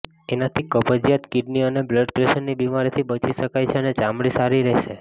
એનાથી કબજીયાત કીડની અને બ્લડપ્રેશરની બીમારીથી બચી શકાય છે અને ચામડી સારી રહેશે